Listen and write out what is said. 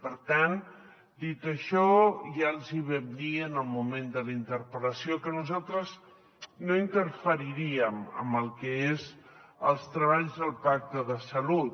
per tant dit això ja els hi vam dir en el moment de la interpel·lació que nosaltres no interferiríem en el que són els treballs del pacte de salut